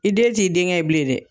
I den t'i denkɛ ye bilen dɛ.